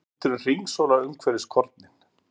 Vindurinn hringsólar umhverfis kornin.